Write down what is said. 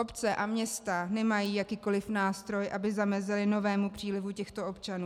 Obce a města nemají jakýkoliv nástroj, aby zamezily novému přílivu těchto občanů.